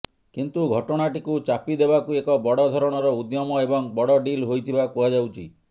କିନ୍ତୁ ଘଟଣାଟିକୁ ଚାପି ଦେବାକୁ ଏକ ବଡ଼ ଧରଣର ଉଦ୍ୟମ ଏବଂ ବଡ଼ ଡିଲ୍ ହୋଇଥିବା କୁହାଯାଉଛି